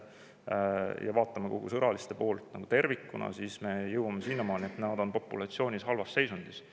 Kui me vaatame kogu sõraliste poolt tervikuna, siis jõuame sinnamaani, et nende populatsiooni seisund on halb.